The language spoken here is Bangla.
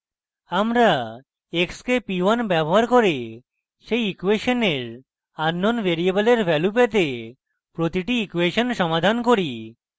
আমরা x k p 1 ব্যবহার করে সেই ইকুয়েশনের আননোন ভ্যারিয়েবলের value পেতে প্রতিটি ইকুয়েশন সমাধান করি